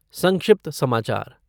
संक्षिप्त समाचार